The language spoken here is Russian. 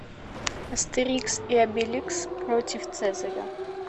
астерикс и обеликс против цезаря